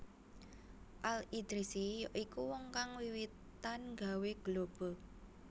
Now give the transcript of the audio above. Al Idrisi ya iku wong kang wiwitan gawé globe